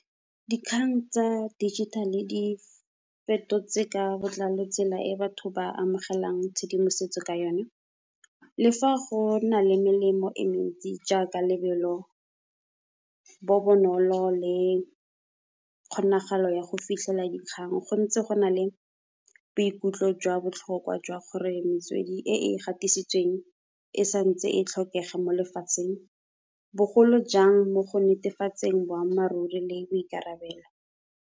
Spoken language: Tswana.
Dikgang tsa digital di fetotse ka botlalo tsela e batho ba amogelang tshedimosetso ka yone, le fa go na le melemo e mentsi jaaka lebelo bo bonolo le kgonagalo ya go fitlhela dikgang. Go ntse go na le boikutlo jwa botlhokwa jwa gore metswedi e e gatisitsweng e santse e tlhokege mo lefatsheng, bogolo jang mo go netefatseng boammaaruri le boikarabelo.